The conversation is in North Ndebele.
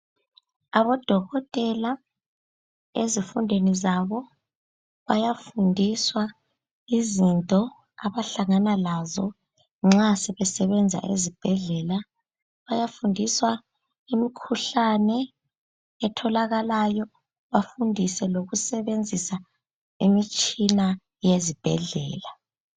Abodokotela ezifundweni zabo bayafundiswa izinto abahlangana lazo nxa sebesebenza ezibhedlela. Bayafundiswa imikhuhlane etholakalayo bafundiswe lokusebenzisa imitshina yezibhedlela.